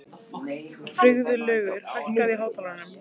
Friðlaugur, hækkaðu í hátalaranum.